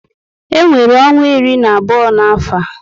E nwere ọnwa iri na abụọ na afọ